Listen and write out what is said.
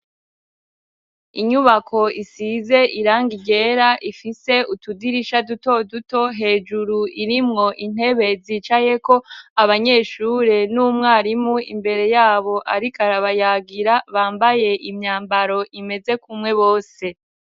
Inyubako isize irangi ryera, ifise utudirisha duto duto hejuru, irimwo intebe zicayeko abanyeshure n'umwarimu imbere yabo, ariko arabayagira bambaye imyambaro imeze kumwe bose.